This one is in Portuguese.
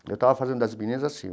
Eu estava fazendo das meninas assim.